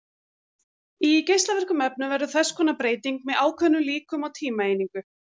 Í geislavirkum efnum verður þess konar breyting með ákveðnum líkum á tímaeiningu.